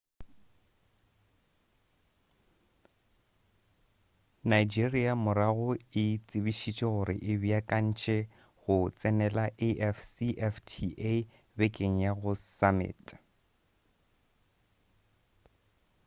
nigeria morago e tsebišitše gore e beakantše go tsenela afcfta bekeng ya go summit